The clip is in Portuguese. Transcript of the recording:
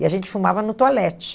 E a gente fumava no toalete.